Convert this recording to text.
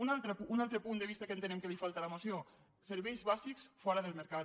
un altre punt de vista que entenem que li falta a la moció serveis bàsics fora del mercat